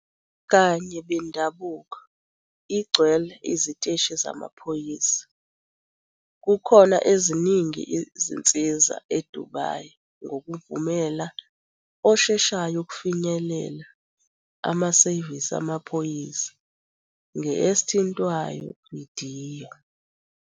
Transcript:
Kanye bendabuko, igcwele, iziteshi zamaphoyisa, kukhona eziningi zinsiza eDubai ngokuvumela osheshayo ukufinyelela amasevisi amaphoyisa nge esithintwayo vidiyo.